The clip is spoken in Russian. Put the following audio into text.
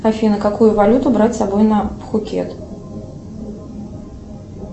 афина какую валюту брать с собой на пхукет